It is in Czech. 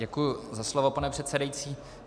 Děkuji za slovo, pane předsedající.